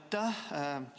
Aitäh!